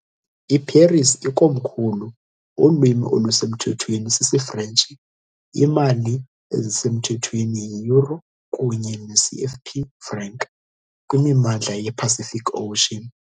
I-Paris ikomkhulu, ulwimi olusemthethweni sisiFrentshi, iimali ezisemthethweni yi- euro kunye ne- CFP franc kwimimandla ye- Pacific Ocean.